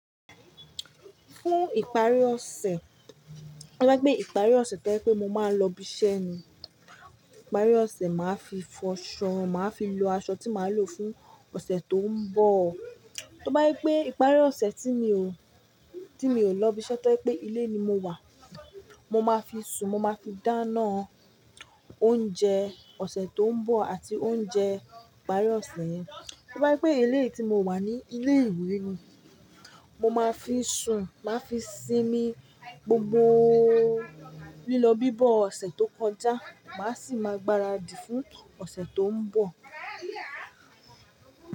Fún ìparí ọ̀sẹ̀, to bá jé pe ìparí ọ̀sẹ̀ to je pé mo máa ń lọ ibi iṣẹ́ ni, ìparí ọ̀sẹ̀ màá fi fọṣọ, màá fi lo aṣọ tí màá lò fún ọ̀sẹ̀ tó ń bọ̀. To bá je pé ìparí ọ̀sẹ̀ tí mi ò, tí mi ò lọ ibi iṣẹ́ to jẹ́ pé ilé ni mo wà, mo máa fi sùn mo máa fi dáná oúnjẹ ọ̀sẹ̀ tó ń bọ̀ àti oúnjẹ ìparí ọ̀sẹ̀ yẹn. To bá je pé ilé yi tí mo wà ní ilé ìwé ni, mo máa fi sùn, màá fi sinmi gbogbo lílo bíbọ ọ̀sẹ̀ tó kọjá, màá sì máa gbáradì fún ọ̀sẹ̀ tó ń bọ̀.